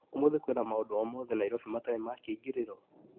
ũmũthĩ kwina maũndũ o mothe Naĩrobĩ matarĩ ma kĩingĩrĩro.